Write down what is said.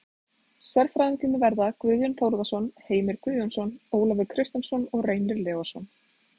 Sérfræðingarnir verða Guðjón Þórðarson, Heimir Guðjónsson, Ólafur Kristjánsson og Reynir Leósson.